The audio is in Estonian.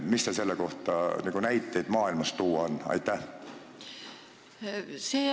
Kas teil on selle kohta tuua maailmast näiteid?